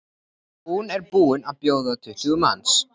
Hún er búin að bjóða tuttugu manns.